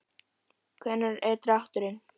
Hvenær er drátturinn?